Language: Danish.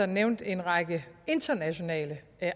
nævnte en række internationale